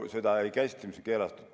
Seda, mis on keelatud, see eelnõu ei käsitle.